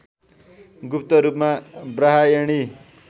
गुप्त रूपमा ब्रम्हायणी